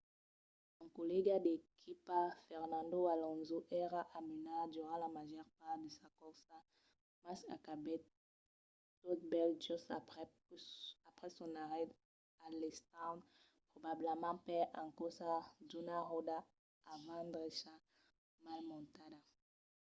son collèga d'equipa fernando alonso èra a menar durant la màger part de la corsa mas acabèt tot bèl just aprèp son arrèst a l'stand probablament per encausa d'una ròda avant-drecha mal montada